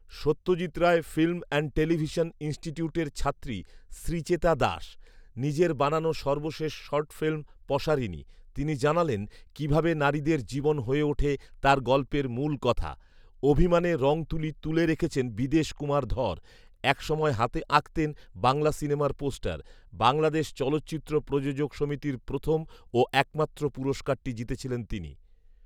Satyajit Ray film and television ইনস্টিটিউটের ছাত্রী শ্রীচেতা দাশ। নিজের বানানো সর্বশেষ শর্ট ফিল্ম ‘পসারিণী’৷ তিনি জানালেন, কীভাবে নারীদের জীবন হয়ে ওঠে তাঁর গল্পের মূল কথা। অভিমানে রং তুলি তুলে রেখেছেন বিদেশ কুমার ধর। একসময় হাতে আঁকতেন বাংলা সিনেমার পোস্টার। বাংলাদেশ চলচ্চিত্র প্রযোজক সমিতির প্রথম ও একমাত্র পুরস্কারটি জিতেছিলেন তিনি।